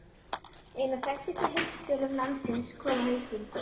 Einn af þekktustu heildsölum landsins kominn á hausinn!